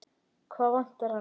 Hvað vantar hana?